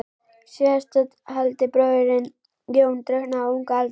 Síðasttaldi bróðirinn, Jón, drukknaði á unga aldri.